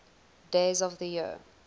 days of the year